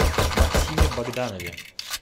максиме богданове